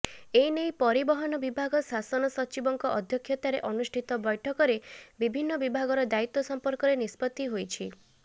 ଏନେଇ ପରିବହନ ବିଭାଗ ଶାସନ ସଚିବଙ୍କ ଅଧ୍ୟକ୍ଷତାରେ ଅନୁଷ୍ଠିତ ବୈଠକରେ ବିଭିନ୍ନ ବିଭାଗର ଦାୟିତ୍ବ ସମ୍ପର୍କରେ ନିଷ୍ପତ୍ତି ହୋଇଛି